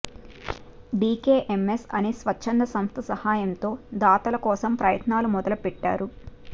DKMS అనే స్వచ్ఛంద సంస్థ సహాయంతో దాతల కోసం ప్రయత్నాలు మొదలుపెట్టారు